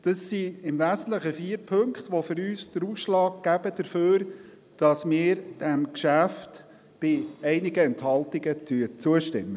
Im Wesentlichen sind es diese vier Punkte, die den Ausschlag dafür geben, dass wir diesem Geschäft bei einigen Enthaltungen zustimmen.